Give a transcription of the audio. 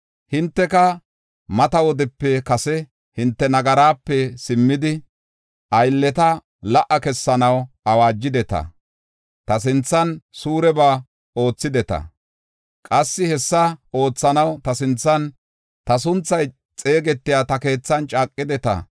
Hinteka mata wodepe kase hinte nagaraape simmidi, aylleta la77a kessanaw awaajideta; ta sinthan suureba oothideta. Qassi hessa oothanaw ta sinthan, ta sunthay xeegetiya ta keethan caaqideta.